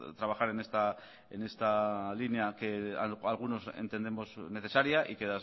trabajar en esta línea que algunos entendemos necesaria y que